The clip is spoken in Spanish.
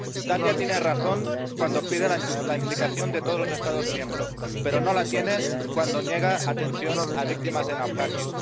Italia tiene razón cuando pide la implicación de todos los Estados miembros, pero no la tiene cuando niega atención a víctimas de naufragio.